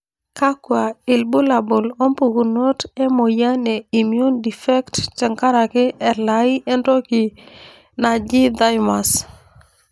kakwa ilbulabul opukunoto emoyian e Immune defect tenkaraki elai entoki naaji thymus?